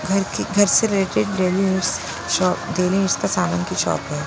घर की घर से related daily use shop daily use का सामान की शॉप है।